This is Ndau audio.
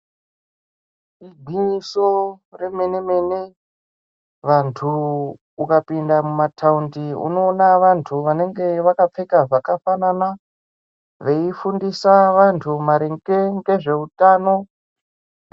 Igwinyiso remene-mene, vanthu ukapinda mumathaundi unoona vanthu vanenge vakapfeka zvakafanana, veifundisa vanthu maringe ngezve utano .